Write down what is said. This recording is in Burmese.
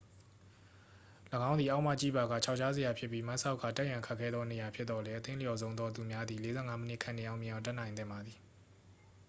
၎င်းသည် အောက်မှကြည့်ပါက ခြောက်ခြားစရာဖြစ်ပြီး မတ်စောက်ကာ တက်ရန်ခက်ခဲသောနေရာဖြစ်သော်လည်း အသင့်လျော်ဆုံးသောသူများသည် 45 မိနစ်ခန့်နှင့် အောင်မြင်အောင်တက်နိုင်သင့်ပါသည်